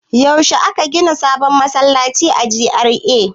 Yaushe ne aka gina sabon masallaci a GRA?